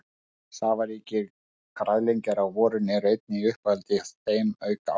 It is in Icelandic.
Safaríkir nýgræðingar á vorin eru einnig í uppáhaldi hjá þeim auk ávaxta.